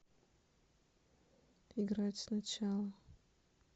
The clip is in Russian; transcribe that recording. играть сначала